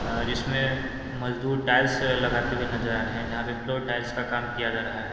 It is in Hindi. आ जिसमें मजदूर टाइल्स लगाते हुए नजर आ रहे है जहां पे फ्लोर टाइल्स का काम किया जा रहा है।